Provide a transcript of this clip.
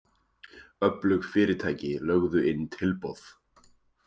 Öflug fyrirtæki lögðu inn tilboð